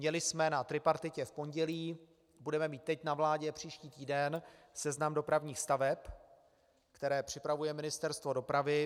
Měli jsme na tripartitě v pondělí, budeme mít teď na vládě příští týden seznam dopravních staveb, které připravuje Ministerstvo dopravy.